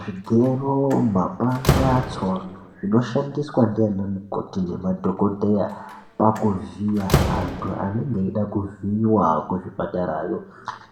Zvigero, mapanga, tsono zvinoshandiswa ndiana mukoti nemadhokodheya pakuvhiya antu anenge eida kuvhiiwa kuzvipatarayo